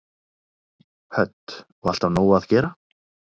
Hödd: Og alltaf nóg að gera?